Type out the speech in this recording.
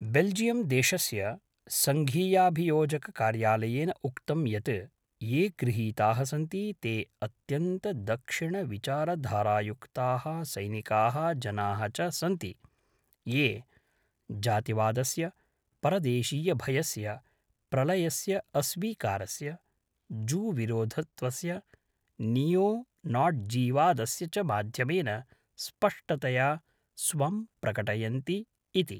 बेल्जियम्देशस्य सङ्घीयाभियोजककार्यालयेन उक्तं यत् ये गृहीताः सन्ति ते अत्यन्तदक्षिणविचारधारायुक्ताः सैनिकाः जनाः च सन्ति ये जातिवादस्य, परदेशीयभयस्य, प्रलयस्य अस्वीकारस्य, जूविरोधित्वस्य, नीयोनाट्ज़ीवादस्य च माध्यमेन स्पष्टतया स्वं प्रकटयन्ति इति।